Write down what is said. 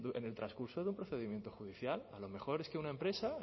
en el transcurso de un procedimiento judicial a lo mejor es que una empresa